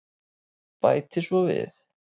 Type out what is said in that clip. Bæti svo við.